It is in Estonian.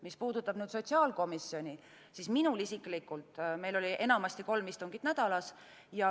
Mis puudutab sotsiaalkomisjoni, siis meil oli enamasti kolm istungit nädalas.